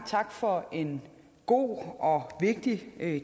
tak for en god og vigtig